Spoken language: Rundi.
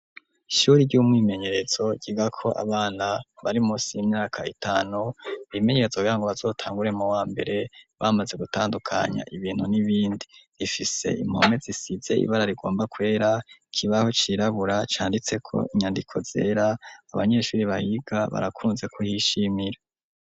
Ishuri ry'umwimenyerezo giga ko abana bari musi y'imyaka itanu ibimenyerzo bra ngo bazotangure mu wa mbere bamaze gutandukanya ibintu n'ibindi rifise impome zisizey ibara rigomba kwera kibaho cirabura canditse ko inyandiko zera abanyeshuri bahiga barakunze kuhishimira.